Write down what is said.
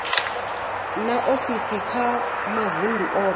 na ofisi kha mavundu othe